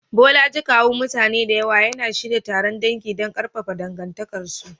Bolaji, kawun mutane da yawa, yana shirya taron dangi don ƙarfafa dangantakarsu.